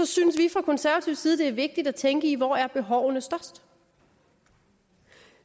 synes vi fra konservativ side det er vigtigt at tænke i hvor er behovene størst og